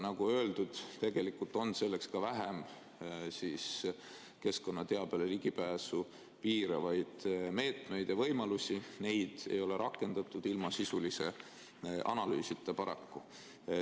Nagu öeldud, tegelikult on selleks ka vähem keskkonnateabele ligipääsu piiravaid meetmeid ja võimalusi, neid ei ole rakendatud ilma sisulise analüüsita, paraku.